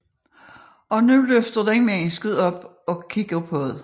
Og nu løfter den mennesket op og kigger på det